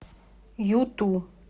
юту